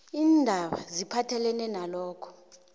iindaba eziphathelene nalokho